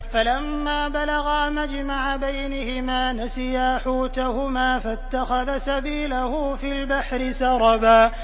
فَلَمَّا بَلَغَا مَجْمَعَ بَيْنِهِمَا نَسِيَا حُوتَهُمَا فَاتَّخَذَ سَبِيلَهُ فِي الْبَحْرِ سَرَبًا